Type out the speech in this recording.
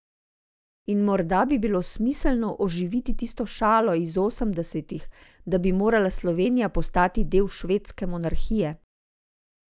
In morda bi bilo smiselno oživiti tisto šalo iz osemdesetih, da bi morala Slovenija postati del švedske monarhije.